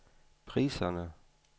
priserne